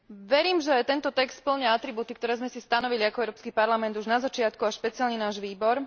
Verím, že tento text spĺňa atribúty, ktoré sme si stanovili ako Európsky parlament už na začiatku špeciálne náš výbor.